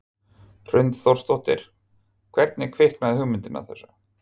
Hrund Þórsdóttir: Hvernig kviknaði hugmyndin að þessu?